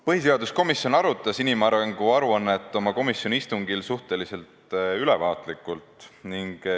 Põhiseaduskomisjon arutas inimarengu aruannet oma istungil suhteliselt ülevaatlikult.